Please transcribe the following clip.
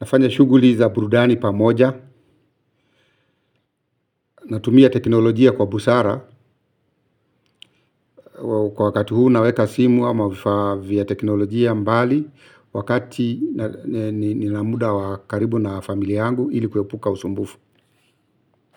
nafanya shuguli za burudani pamoja na tumia teknolojia kwa busara kwa wakati huu naweka simu ama vifaa vya teknolojia mbali wakati nina muda wa karibu na familia yangu ili kuepuka usumbufu.